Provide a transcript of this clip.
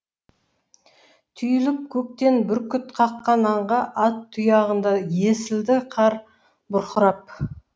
түйіліп көктен бүркіт қаққан аңға ат тұяғында есілді қар бұрқырап